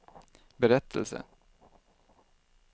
berättelse